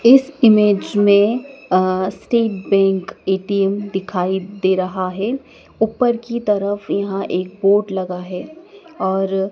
इस इमेज़ में अह स्टेट बैंक ए_टी_एम दिखाई दे रहा है ऊपर की तरफ यहां एक बोर्ड लगा है और--